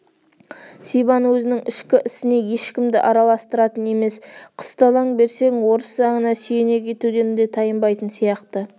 сибан өзінің ішкі ісіне ешкімді араластыратын емес қысталаң берсең орыс заңына сүйене кетуден де тайынбайтын сияқты